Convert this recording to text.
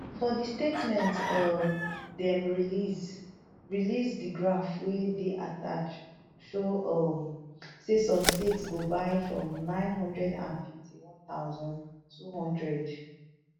for di statement um dem release release di graph wey dey attached show um say some states go buy from nnine hundred and fiftynone thousand, two hundred